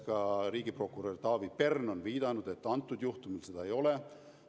Ka riigiprokurör Taavi Pern on viidanud, et antud juhtumil seda ei ole.